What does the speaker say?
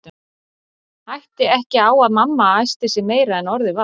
Hætti ekki á að mamma æsti sig meira en orðið var.